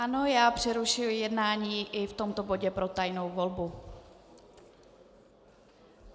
Ano, já přerušuji jednání i v tomto bodě pro tajnou volbu.